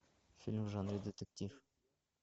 фильм в жанре детектив